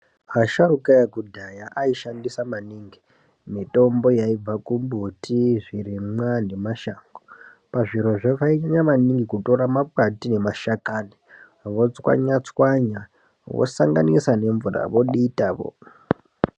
Asharuka ekudhaya ayi shandisa maningi mitombo yaibva kumbuti zvirimwa nemashango, pazvirozvo vayinyanya maningi kutora makwati emashakani, votswanya-tswanya vosanganisa nemvura voditavo.